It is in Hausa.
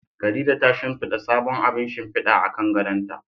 Khadija ta shimfida sabon abun shimfida akan gadonta.